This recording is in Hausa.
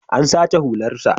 An sace hularsa.